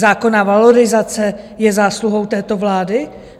Zákonná valorizace je zásluhou této vlády?